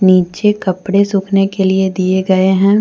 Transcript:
नीचे कपड़े सूखने के लिए दिए गए हैं।